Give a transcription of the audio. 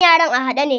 Kan yaran a haɗe ne.